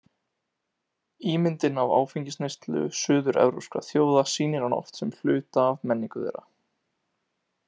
Ímyndin af áfengisneyslu suður-evrópskra þjóða sýnir hana oft sem hluta af menningu þeirra.